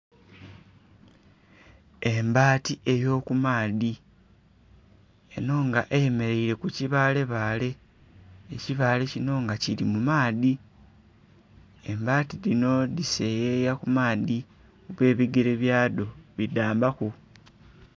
Embaati eyo kumaadhi eno nga eyemeleire ku kibalebale ekibaale kino nga kiri mu maadhi embaati dhino dhiseyeeya ku maadhi kuba ebigere byado bidhambaku